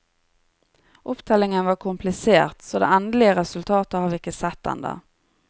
Opptellingen var komplisert, så det endelige resultatet har vi ikke sett enda.